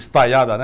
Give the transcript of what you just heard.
Estaiada, né?